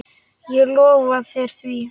Ég lofa þér því.